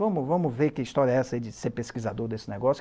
''Vamos, vamos ver que história é essa de ser pesquisador desse negócio.''